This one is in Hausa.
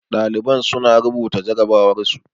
Ɗaliban su na rubuta jarrabawar su